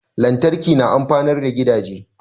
Lantarki na amfanar gidaje